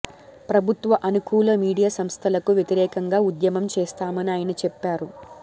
ప్రభుత్వ అనుకూల మీడియా సంస్థలకు వ్యతిరేకంగా ఉద్యమం చేస్తామని ఆయన చెప్పారు